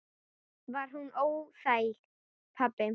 Var hún óþæg, pabbi?